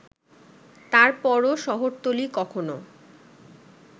তারপরও শহরতলী কখনো